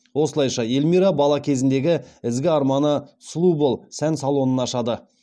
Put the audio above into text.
осылайша эльмира бала кезіндегі ізгі арманы сұлу бол сән салонын ашады